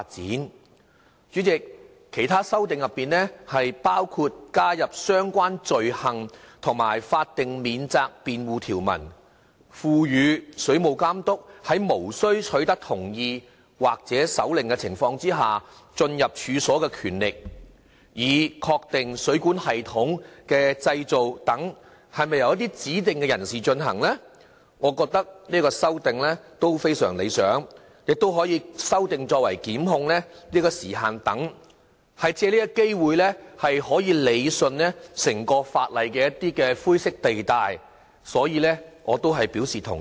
代理主席，其他修訂包括加入相關罪行及法定免責辯護條文，賦予水務監督在無需取得同意或手令的情況下進入處所的權力，以確定水管系統的建造是否由指定人士進行，我認為這項修訂亦非常理想，同時亦修訂檢控時限等，可借這個機會理順整體法例的灰色地帶，所以我是表示同意的。